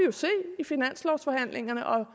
i finanslovforhandlingerne og